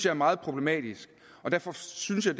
er meget problematisk og derfor synes jeg